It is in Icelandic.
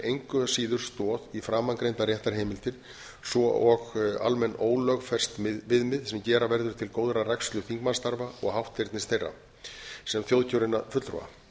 engu síður stoð í framangreindar réttarheimildir svo og almenn ólögfest viðmið sem gera verður til góðrar rækslu þingmannsstarfa eða hátternis þeirra sem þjóðkjörinna fulltrúa